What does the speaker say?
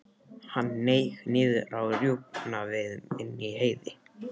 Hann hneig niður á rjúpnaveiðum inni í Heiði.